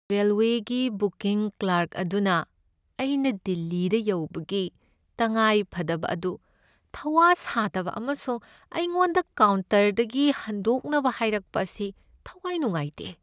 ꯔꯦꯜꯋꯦꯒꯤ booking clerk ꯑꯗꯨꯅ ꯑꯩꯅ ꯗꯤꯜꯂꯤꯗ ꯌꯧꯕꯒꯤ ꯇꯉꯥꯏꯐꯗꯕ ꯑꯗꯨ ꯊꯧꯋꯥ ꯁꯥꯗꯕ ꯑꯃꯁꯨꯡ ꯑꯩꯉꯣꯟꯗ ꯀꯥꯎꯟꯇꯔꯗꯒꯤ ꯍꯟꯗꯣꯛꯅꯕ ꯍꯥꯏꯔꯛꯄ ꯑꯁꯤ ꯊꯋꯥꯏ ꯅꯨꯡꯉꯥꯏꯇꯦ ꯫